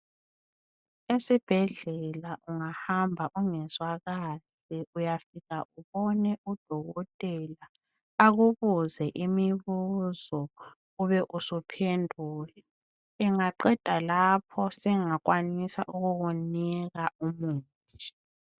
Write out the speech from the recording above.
Esibhedlela ungahamba ungezwa kahle uyafika ubone udokotela akubuze imibuzo ube usuphendula. Engaqeda lapho sengakwanisa ukukunika umuthi.